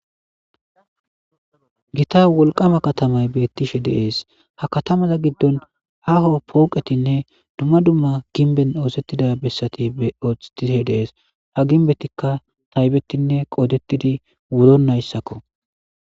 Gita wolqama katamay beettishe deees hakatamaza giddon haho pooqetinne dumma dumma ginben oosettida bessati beottishe deees haginbetikka taybetinne qoodettidi wuro nayssakko.